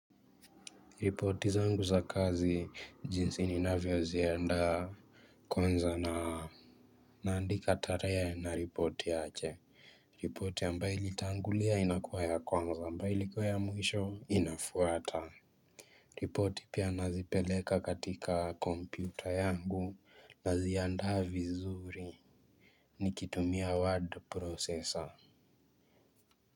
Ripoti zangu za kazi jinsi ninavyo ziandaa kwanza na naandika tarehe na ripoti yake ripoti ambayo ilitangulia inakuwa ya kwanza ambayo ilikuwa ya mwisho inafuata ripoti pia nazipeleka katika kompyuta yangu naziandaa vizuri nikitumia word processor.